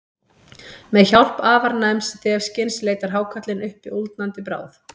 Með hjálp afar næms þefskyns leitar hákarlinn uppi úldnandi bráð.